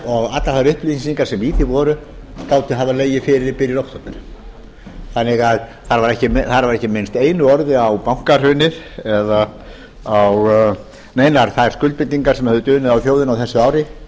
og allar þær upplýsingar sem í því voru gátu hafa legið fyrir í byrjun október þar var ekki minnst einu orði á bankahrunið eða á neinar þær skuldbindingar sem höfðu dunið á þjóðinni á þessu ári